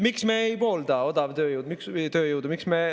Miks me ei poolda odavtööjõudu?